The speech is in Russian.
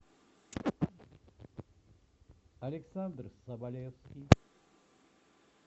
александр соболевский